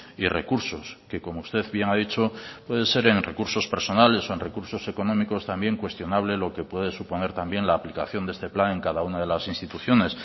y recursos que como usted bien ha dicho puede ser en recursos personales o en recursos económicos también cuestionable lo que puede suponer también la aplicación de este plan en cada una de las instituciones